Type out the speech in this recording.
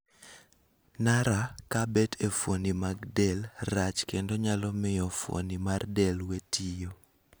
. Nara kabet e fuoni mag del rach kendo nyalo mio fuoni mar del we tiyo